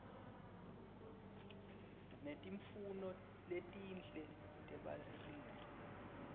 netimfuno letinhle tebalingani